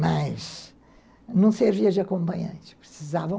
Mas não servia de acompanhante, precisava